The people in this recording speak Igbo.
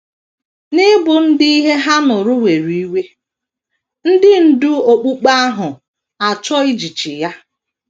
N’ịbụ ndị ihe ha nụrụ were iwe, ndị ndú okpukpe ahụ achọọ ijichi ya.